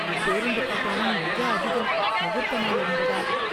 பேருந்து கட்டணம் மிக அதிகம். முகூர்த்த நாள் என்பதால்.